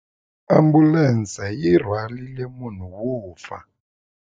Ambulense yi rhwarile munhu wo fa.